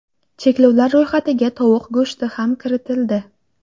Cheklovlar ro‘yxatiga tovuq go‘shti ham kiritildi.